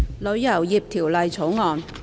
《旅遊業條例草案》。